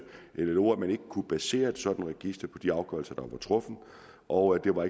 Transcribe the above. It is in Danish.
llo at man ikke kunne basere et sådant register på de afgørelser der var truffet og det var